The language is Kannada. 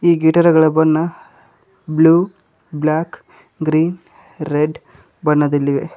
ಈ ಗಿಟಾರ್ಗಳ ಬಣ್ಣ ಬ್ಲೂ ಬ್ಲಾಕ್ ಗ್ರೀನ್ ರೆಡ್ ಬಣ್ಣದಲ್ಲಿವೆ.